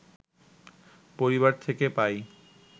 পরিবার থেকে পাই